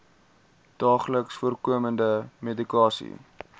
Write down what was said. daagliks voorkomende medikasie